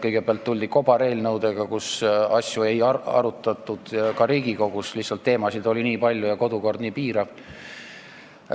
Kõigepealt tuldi kobareelnõudega, mille puhul asju ei arutatud ka Riigikogus – lihtsalt teemasid oli nii palju ja kodukord on nii piirav.